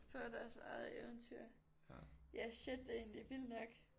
Få deres eget eventyr. Ja shit det er egentlig vildt nok